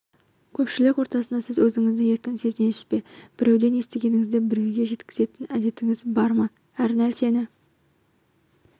көпшілік ортасында сіз өзіңізді еркін сезінесіз бе біреуден естігеніңізді біреуге жеткізетін әдетіңіз бар ма әр нәрсені